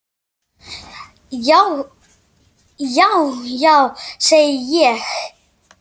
Já, já, segi ég.